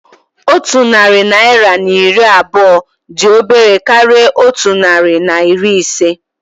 Otu narị naira na iri abụọ dị obere karịa otu narị na iri ise